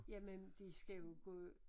Jamen de skal jo gøre